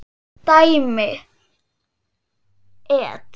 Dæmi: et.